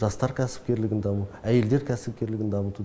жастар кәсіпкерлігін дамыту әйелдер кәсіпкерлігін дамыту